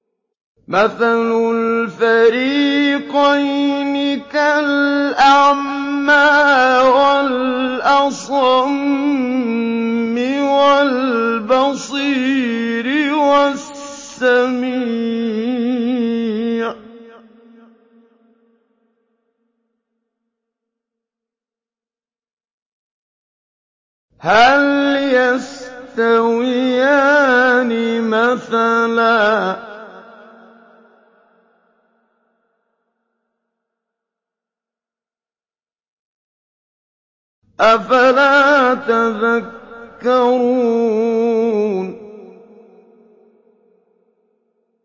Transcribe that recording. ۞ مَثَلُ الْفَرِيقَيْنِ كَالْأَعْمَىٰ وَالْأَصَمِّ وَالْبَصِيرِ وَالسَّمِيعِ ۚ هَلْ يَسْتَوِيَانِ مَثَلًا ۚ أَفَلَا تَذَكَّرُونَ